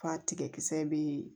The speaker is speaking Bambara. Fa tigɛ kisɛ bee